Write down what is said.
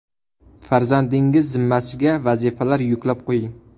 Farzandingiz zimmasiga vazifalar yuklab qo‘ying.